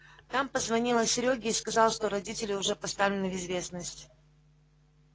там позвонила серёге и сказала что родители уже поставлены в известность